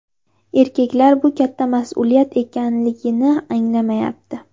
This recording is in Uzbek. Erkaklar bu katta mas’uliyat ekanligini anglamayapti.